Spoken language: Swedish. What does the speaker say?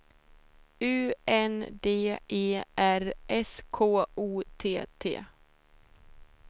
U N D E R S K O T T